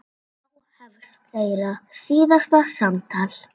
Þá hefst þeirra síðasta samtal.